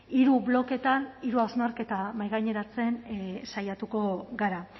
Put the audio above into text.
hiru bloketan hiru hausnarketa mahaigaineratzen saiatuko gara